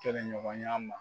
Kɛlɛɲɔgɔnya ma